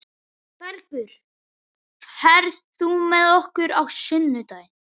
Bergur, ferð þú með okkur á sunnudaginn?